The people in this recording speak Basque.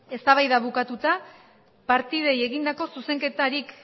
eztabaida bukatuta partidei egindako zuzenketarik